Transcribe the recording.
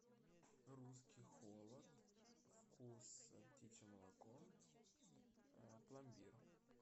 русский холод вкус птичье молоко пломбир